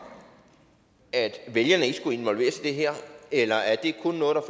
at vælgerne ikke skulle involveres i det her eller er det kun noget